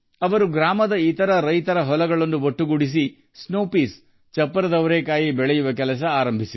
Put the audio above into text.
ಹಳ್ಳಿಯ ಇತರ ರೈತರ ಜಮೀನನ್ನು ಒಗ್ಗೂಡಿಸಿ ಹಿಮ ಅವರೆಕಾಳು ಬೆಳೆಯಲು ಪ್ರಾರಂಭಿಸಿದರು